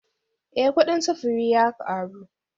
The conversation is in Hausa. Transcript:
Eh kudin sufuri ya karu